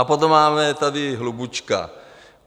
A potom máme tady Hlubučka.